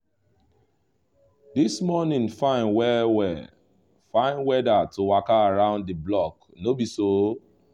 this morning fine well well — fine weather to waka round the block no be so?